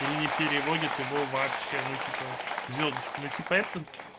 или не переводит его вообще ну типа звёздочка ну типа это